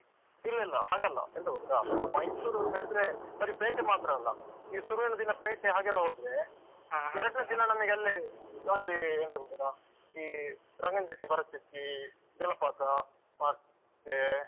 ಇಲ್ಲ ಇಲ್ಲ ಹಾಗಲ್ಲ ಎಂತ ಗೊತ್ತುಂಟಾ, ಅಂತ ಹೇಳಿದ್ರೆ ಬರಿ ಪೇಟೆ ಮಾತ್ರ ಅಲ್ಲ, ಈ ಶುರುವಿನದಿನ ಪೇಟೆ ಹಾಗೆಲ್ಲ ಹೋದ್ರೆ ಎರಡ್ನೆ ದಿನ ನಮ್ಗೆ ಅಲ್ಲೇ so ಅಲ್ಲೇ ಎಂತಗೊತ್ತುಂಟ ಈ ರಂಗನ ಚುಕ್ಕಿ, ಭರಚುಕ್ಕಿ, ಜಲಪಾತ ಮತ್ತೆ